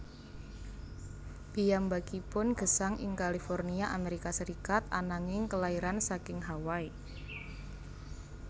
Piyambakipun gesang ing California Amerika Serikat ananging kelairan saking Hawai